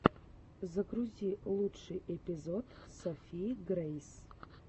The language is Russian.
загрузи лучший эпизод софии грейс